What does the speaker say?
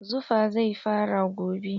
Zufa zai fara gobe.